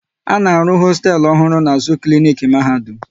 A na-arụ hosteelu ọhụrụ n'azụ klinik Mahadum